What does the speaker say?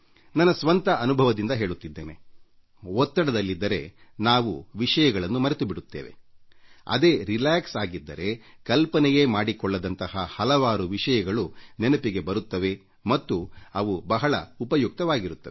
ನನ್ನ ಸ್ವಂತ ಅನುಭವದಿಂದ ಹೇಳುತ್ತಿದ್ದೇನೆ ಒತ್ತಡದಲ್ಲಿದ್ದರೆ ನಾವು ವಿಷಯಗಳನ್ನು ಮರೆತುಬಿಡುತ್ತೇವೆ ಅದೇ ನಿರುಮ್ಮಳವಾಗಿದ್ದಾಗ ಕಲ್ಪನೆಯೇ ಮಾಡಿಕೊಳ್ಳದಂತಹ ಹಲವಾರು ವಿಷಯಗಳು ನೆನಪಿಗೆ ಬರುತ್ತವೆ ಮತ್ತು ಅವು ಬಹಳ ಉಪಯುಕ್ತವಾಗಿರುತ್ತವೆ